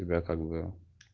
тебя как бы